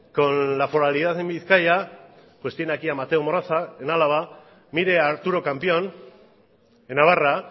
con la foralidad en bizkaia pues tiene aquí a mateo moraza en álava mire a arturo campión en navarra